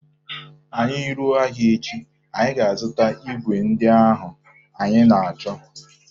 Anyị ruo ahịa echi, anyị ga-azụta igwe ndị ahụ anyị na-achọ